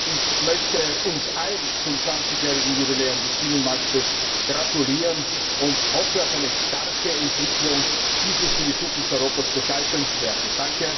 Ich möchte uns allen zum 20 jährigen Jubiläum des Binnenmarkts gratulieren und hoffe auf eine starke Entwicklung dieses für die Zukunft Europas bedeutenden Werkes!